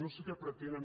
no sé què pretenen